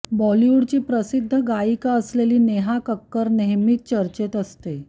बॉलीवूडची प्रसिद्ध गायिका असेलेली नेहा कक्कर नेहमीच चर्चेत असते